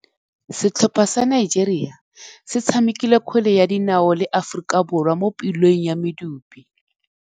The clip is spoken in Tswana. Setlhopha sa Nigeria se tshamekile kgwele ya dinaô le Aforika Borwa mo puleng ya medupe.